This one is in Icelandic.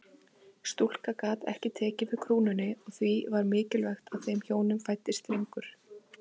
Stúlka gat ekki tekið við krúnunni og því var mikilvægt að þeim hjónum fæddist drengur.